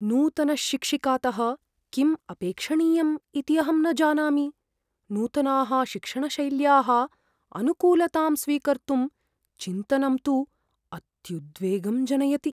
नूतनशिक्षिकातः किम् अपेक्षणीयम् इति अहं न जानामि। नूतनाः शिक्षणशैल्याः अनुकूलतां स्वीकर्तुं चिन्तनं तु अत्युद्वेगं जनयति।